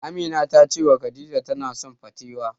Amina ta cewa Khadija tana son patewo.